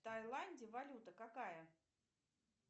в таиланде валюта какая